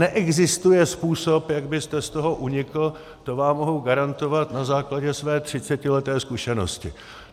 Neexistuje způsob, jak byste z toho unikl, to vám mohu garantovat na základě své 30leté zkušenosti.